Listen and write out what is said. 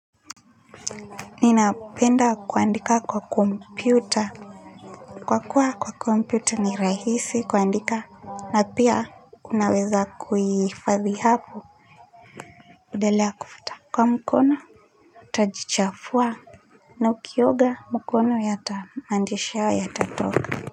Ninapenda kuandika kwa kompyuta kwa kuwa kwa kompyuta ni rahisi kuandika na pia unaweza kuhifadhi hapo delea kufuta kwa mkono utajichafua na ukioga mkono yata maandishi hayo yatatoka.